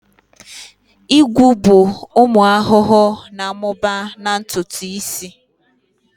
Igwu bụ ụmụ ahụhụ na-amụba na ntutu isi